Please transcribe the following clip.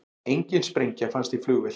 Engin sprengja fannst í flugvél